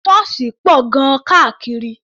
Ṣọ́ọ̀ṣì pọ̀ gan-an káàkiri.